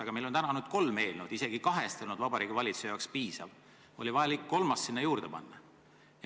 Aga meil on täna nüüd kolm eelnõu, isegi kaks ei olnud Vabariigi Valitsuse jaoks piisav, oli vaja kolmas sinna juurde panna.